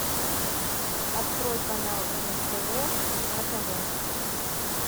открой канал нств на тв